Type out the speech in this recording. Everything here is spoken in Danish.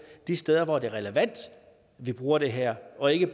de steder hvor det er relevant at bruge det her og ikke